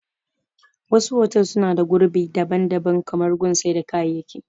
Wasu fotel suna da gurbi daban daban kamar gun sai da kayaki